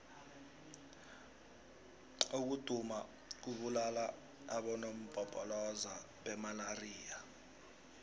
ukuduma kubulala abonompopoloza bemalaxia